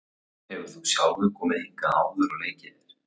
Hefur þú sjálfur komið hingað áður og leikið þér?